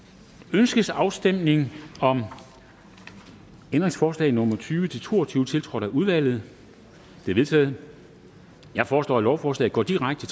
ønskes afstemning om ændringsforslag nummer tyve til to og tyve tiltrådt af udvalget de er vedtaget jeg foreslår at lovforslaget går direkte